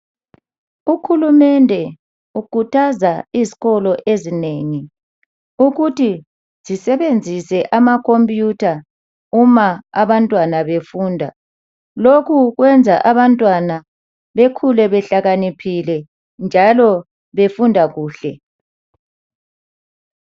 Uhulumende ukhuthaza izikolo ezinengi ukuthi zisebenzise amakhompiyutha uma abantwana befunda lokhu kwenza abantwana bekhule behlakaniphile njalo befunda kuhle